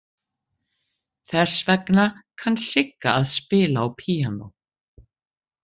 Þess vegna kann Sigga að spila á píanó.